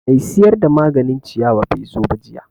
Mai siyar da maganin ciyawa bai zo ba jiya